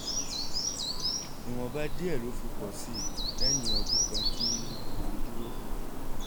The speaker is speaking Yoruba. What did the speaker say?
ìwọ̀nba díẹ̀ ló fi pọ̀ sí i lẹ́yìn ọdún kan tí wọ́n fi dúró